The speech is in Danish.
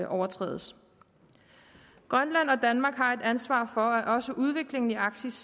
overtrædes grønland og danmark har et ansvar for at også udviklingen i arktis